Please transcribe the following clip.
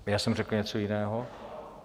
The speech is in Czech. Já jsem řekl něco jiného?